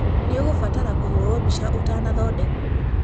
Nĩ ũgũbatara kũhũrwo bica ũtanathondekwo.